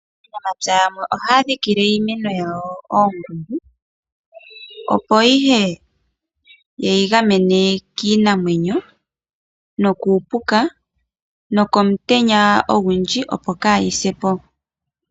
Aanamapya yamwe ohaya dhikile iimeno yawo omankolo, opo ihe ye yi gamene kiinamwenyo nokuupuka nokomutenya ogundji, opo kayi se po.